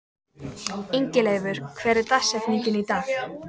Ingileifur, hver er dagsetningin í dag?